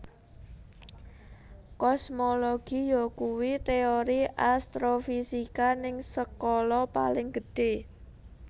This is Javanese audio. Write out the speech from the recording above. Kosmologi yakuwi teori astrofisika ning skala paling gedhe